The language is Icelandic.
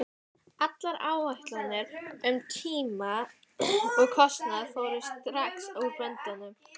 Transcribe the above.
Allar áætlanir um tíma og kostnað fóru strax úr böndum.